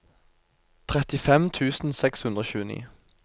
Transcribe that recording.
trettifem tusen seks hundre og tjueni